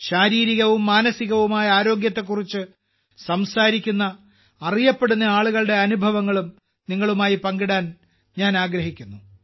ശാരീരികവും മാനസികവുമായ ആരോഗ്യത്തെക്കുറിച്ച് സംസാരിക്കുന്ന അറിയപ്പെടുന്ന ആളുകളുടെ അനുഭവങ്ങളും നിങ്ങളുമായി പങ്കിടാൻ ഞാൻ ആഗ്രഹിക്കുന്നു